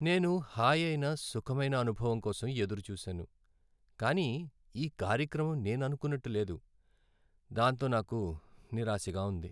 నేను హాయైన, సుఖమైన అనుభవం కోసం ఎదురు చూసాను, కానీ ఈ కార్యక్రమం నేను అనుకున్నట్టు లేదు, దాంతో నాకు నిరాశగా ఉంది.